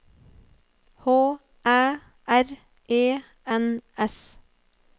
H Æ R E N S